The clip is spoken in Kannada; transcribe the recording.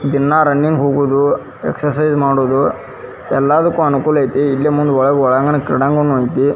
ದಿನ ರನ್ನಿಂಗ್ ಹೋಗೋದು ಎಸ್ಚ್ರ್ಸಿಜ್ ಮಾಡೋದು ಎಲ್ಲದಕ್ಕೂ ಅನುಕೂಲ ಐತಿ ಇಲ್ಲೇ ಮುಂದೆ ಕ್ರೀಡಾಂಗಣ ಐತಿ.